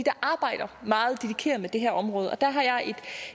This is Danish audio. arbejder meget dedikeret med det her område der har jeg et